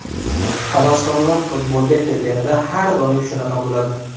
Havaskorlar futbolga kelganida har doim shunaqa bo‘ladi.